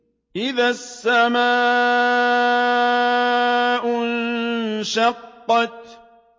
إِذَا السَّمَاءُ انشَقَّتْ